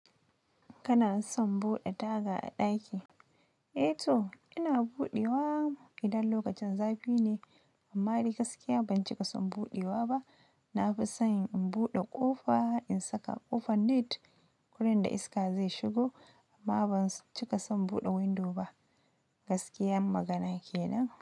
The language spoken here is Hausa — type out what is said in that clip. Kana son buɗe taga a ɗaki? Eh to, ina buɗewa idan lokacin zafi ne, amma ni gaskiya ban cika son buɗewa ba. Na fi sob in buɗe ƙofa in saka ƙofar net gurin da iska zai shigo amma ban cika son buɗe window ba. Gaskiyan magana kenan.